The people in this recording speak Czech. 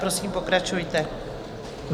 Prosím, pokračujte.